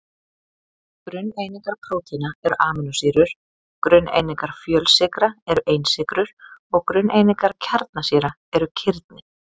Grunneiningar prótína eru amínósýrur, grunneiningar fjölsykra eru einsykrur og grunneiningar kjarnasýra eru kirni.